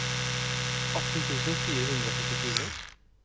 atten tusen fire hundre og førtifire